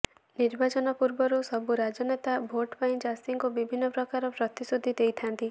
ନିର୍ବାଚନ ପୂର୍ବରୁ ସବୁ ରାଜନେତା ଭୋଟ୍ ପାଇଁ ଚାଷୀଙ୍କୁ ବିଭିନ୍ନ ପ୍ରକାରର ପ୍ରତିଶ୍ରୁତି ଦେଇଥାନ୍ତି